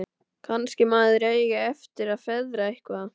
Kannski maður eigi eftir að feðra eitthvað.